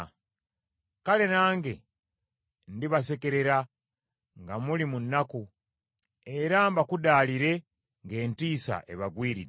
kale nange ndibasekerera nga muli mu nnaku, era mbakudaalire ng’entiisa ebagwiridde.